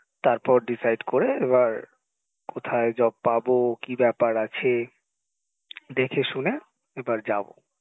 তারপর decide করে এবার কোথায় job পাবো কি ব্যাপার আছে দেখেশুনে এবার যাবো